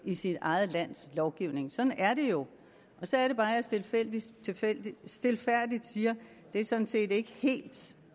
i sit eget lands lovgivning sådan er det jo og så er det bare jeg stilfærdigt stilfærdigt siger det er sådan set ikke helt